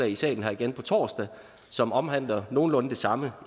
i salen igen på torsdag som omhandler nogenlunde det samme